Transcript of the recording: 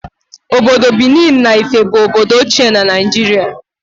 Obodo Benin na Ife bụ obodo ochie na Naịjirịa